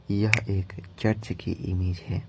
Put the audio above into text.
यह एक चर्च की इमेज है।